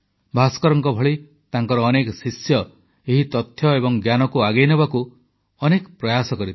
ଭାସ୍କରଙ୍କ ଭଳି ତାଙ୍କର ଅନେକ ଶିଷ୍ୟ ଏହି ତଥ୍ୟ ଏବଂ ଜ୍ଞାନକୁ ଆଗେଇନେବାକୁ ଅନେକ ପ୍ରୟାସ କରିଥିଲେ